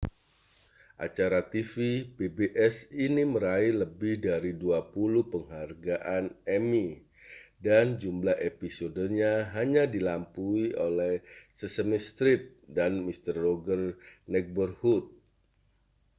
acara tv pbs ini meraih lebih dari dua puluh penghargaan emmy dan jumlah episodenya hanya dilampaui oleh sesame street dan mister rogers' neighborhood